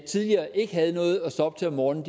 tidligere ikke havde noget at stå op til om morgenen